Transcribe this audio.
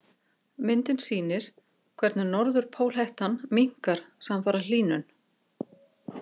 Myndin sýnir hvernig norðurpólhettan minnkar samfara hlýnun.